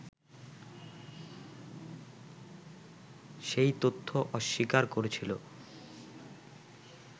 সেই তথ্য অস্বীকার করেছিল